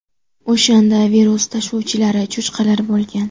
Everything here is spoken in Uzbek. O‘shanda virus tashuvchilari cho‘chqalar bo‘lgan.